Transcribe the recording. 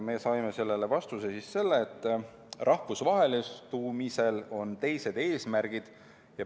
Me saime sellele vastuseks, et rahvusvahelistumisel on teised eesmärgid.